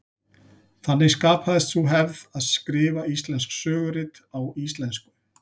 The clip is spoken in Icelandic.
Þannig skapaðist sú hefð að skrifa íslensk sögurit á íslensku.